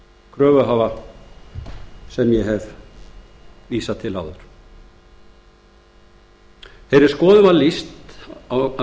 kröfuhafa sem ég hef vísað til áður þeirri skoðun var lýst af